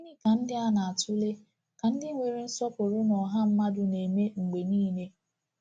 Gịnị ka ndị a na-atụle ka ndị nwere nsọpụrụ na ọha mmadụ na-eme mgbe niile?